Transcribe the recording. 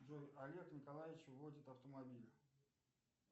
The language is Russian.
джой олег николаевич водит автомобиль